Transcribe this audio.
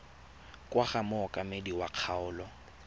kwa go mookamedi wa kgaolo